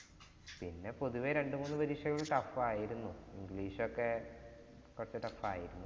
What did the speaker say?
പിന്നെ പൊതുവേ രണ്ടുമൂന്നു പരീക്ഷകൾ tough ആയിരുന്നു. English ഒക്കെ കൊറച്ചു tough ആയിരുന്നു.